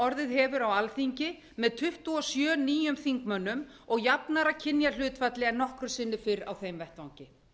orðið hefur á alþingi með tuttugu og sjö nýjum þingmönnum og jafnara kynjahlutfalli en nokkru sinni fyrr á þeim vettvangi